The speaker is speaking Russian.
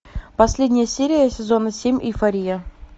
последняя серия сезона семь эйфория